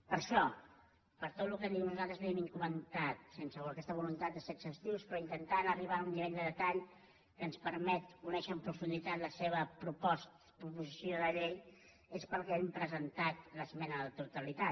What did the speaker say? per això per tot el que nosaltres li hem comentat sen·se aquesta voluntat de ser exhaustius però intentant arribar a un nivell de detall que ens permet conèixer en profunditat la seva proposició de llei és pel que hem presentat l’esmena a la totalitat